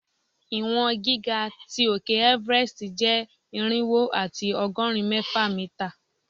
Iwọn giga ti òke Everest jẹ irinwo ati ọgọrin mẹfa mita